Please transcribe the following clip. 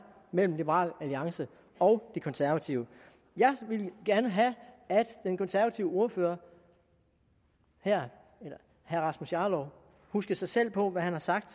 mellem liberal alliance og de konservative jeg ville gerne have at den konservative ordfører herre rasmus jarlov huskede sig selv på hvad han har sagt